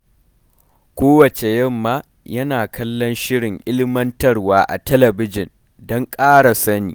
Kowacce yamma, yana kallon shirin ilmantarwa a talabijin don ƙara sani.